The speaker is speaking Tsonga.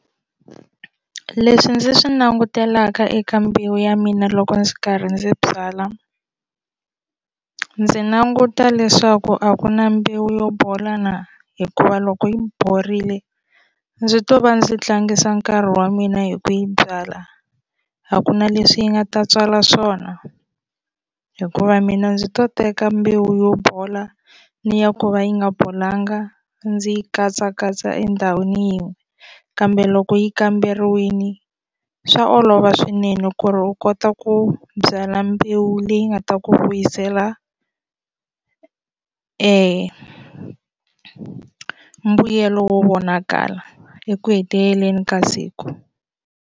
Leswi ndzi swi langutelaka eka mbewu ya mina loko ndzi karhi ndzi byala ndzi languta leswaku a ku na mbewu yo bola na hikuva loko yi borile ndzi to va ndzi tlangisa nkarhi wa mina hi ku yi byala a ku na leswi yi nga ta tswala swona hikuva mina ndzi to teka mbewu yo bola ni ya ku va yi nga bolanga ndzi yi katsakatsa endhawini yin'we kambe loko yi kamberiwile swa olova swinene ku ri u kota ku byala mbewu leyi nga ta ku vuyisela mbuyelo vonakala eku heteleleni ka siku.